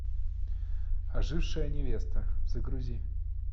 ожившая невеста загрузи